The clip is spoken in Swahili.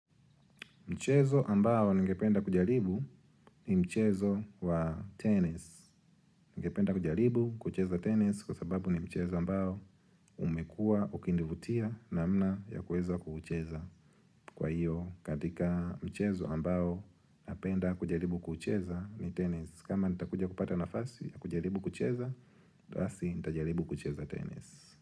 Mchezo ambao ningependa kujaribu ni mchezo wa tennis. Ningependa kujaribu kucheza tenis kwa sababu ni mchezo ambao umekua ukinivutia namna ya kuweza kuucheza Kwa hiyo katika mchezo ambao napenda kujaribu kucheza ni tennis kama nitakuja kupata nafasi ya kujaribu kucheza, basi nitajaribu kucheza tennis.